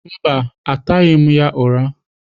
Mba, ataghị m ya ụra